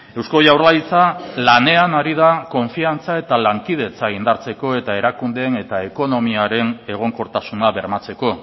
eusko jaurlaritza lanean ari da konfiantza eta lankidetza indartzeko eta erakundeen eta ekonomiaren egonkortasuna bermatzeko